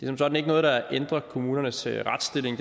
som sådan ikke noget der ændrer kommunernes retsstilling